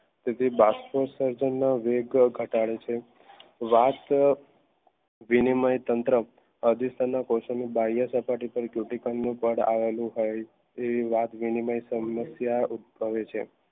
સુધી બસકો સરજાણ ના ઘટાડે છે વિનિમય તંત્ર ફાડ અવળું હોય છે તેવી વાત વિનિમય સમસ્યા ઉતપાવે છે